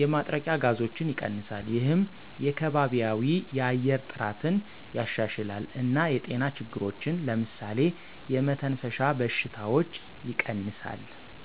የማጥረቂያ ጋዞችን ይቀንሳል። ይህም የከባቢያዊ የአየር ጥራትን ያሻሽላል እና የጤና ችግሮችን (ለምሳሌ የመተንፈሻ በሽታዎች) ይቀንሳል።